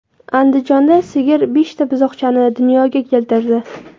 Andijonda sigir beshta buzoqchani dunyoga keltirdi.